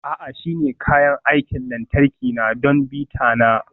A'a, shi ne kayan aikin lantarki na don bita na.